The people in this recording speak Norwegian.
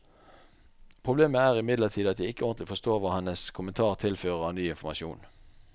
Problemet er imidlertid at jeg ikke ordentlig forstår hva hennes kommentar tilfører av ny informasjon.